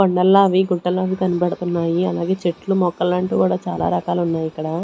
కొండల్లా అవి గుట్టలు అవి కనపడుతున్నాయి అలాగే చెట్లు మొక్కలు అంటే కూడా చాలా రకాలు ఉన్నాయి ఇక్కడ.